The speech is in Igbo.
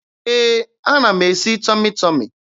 Ee, ana m esi Tọmị Tọmị.